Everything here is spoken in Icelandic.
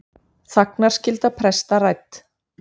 Þagnarskylda presta rædd